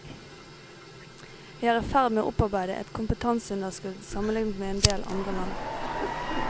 Vi er i ferd med å opparbeide et kompetanseunderskudd sammenlignet med endel andre land.